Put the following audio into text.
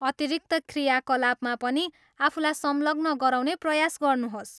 अतिरिक्त क्रियाकलापमा पनि आफूलाई संलग्न गराउने प्रयास गर्नुहोस्।